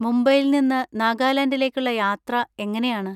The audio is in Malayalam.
മുംബൈയിൽ നിന്ന് നാഗാലാൻഡിലേക്കുള്ള യാത്ര എങ്ങനെയാണ്?